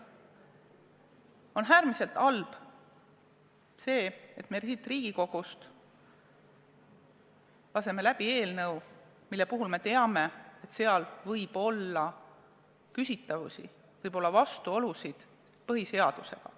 On äärmiselt halb, et me siin Riigikogus laseme läbi eelnõu, mille puhul teame, et selles võib olla küsitavusi, võib olla vastuolusid põhiseadusega.